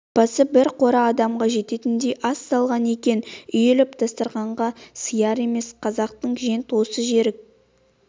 апасы бір қора адамға жететіндей ас салған екен үйіліп дастарқанға сияр емес қазақтың жент осы жерік